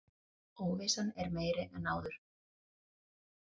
Óvissan meiri en áður